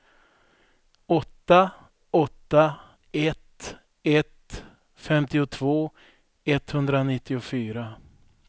åtta åtta ett ett femtiotvå etthundranittiofyra